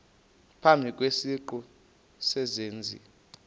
phambi kwesiqu sezenzi